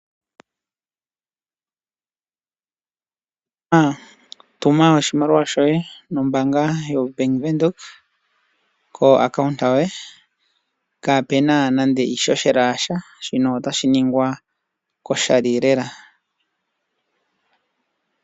Tuma oshimaliwa shoye nombaanga yoBank Windhoek koakaunta yoye kaapuna nande iihohela yasha shino otoshi ningwa koshali lela.